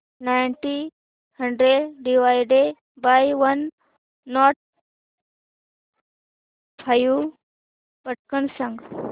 nineteen hundred divided by one nought five पटकन सांग